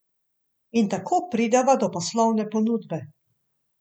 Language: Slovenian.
In tako prideva do poslovne ponudbe.